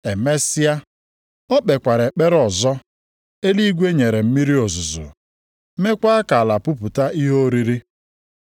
Emesịa, o kpekwara ekpere ọzọ, eluigwe nyere mmiri ozuzo, meekwa ka ala pupụta ihe oriri.